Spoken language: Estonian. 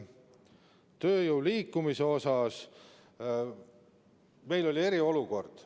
Tööjõu liikumise kohta ütlen, et meil oli eriolukord.